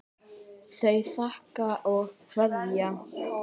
Þau þakka og kveðja.